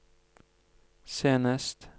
senest